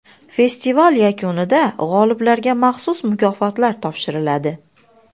Festival yakunida g‘oliblarga maxsus mukofotlar topshiriladi.